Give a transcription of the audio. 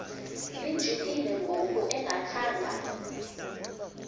lijikile ngoku engakhanga